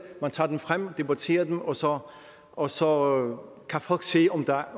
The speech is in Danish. man tager dem frem og debatterer dem og så og så kan folk se om der